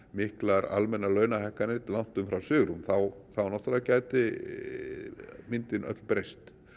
miklar almennar launahækkanir langt umfram svigrúm þá gæti myndin öll breyst